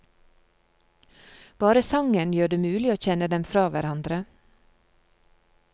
Bare sangen gjør det mulig å kjenne dem fra hverandre.